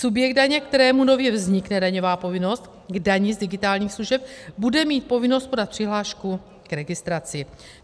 Subjekt daně, kterému nově vznikne daňová povinnost k dani z digitálních služeb, bude mít povinnost podat přihlášku k registraci.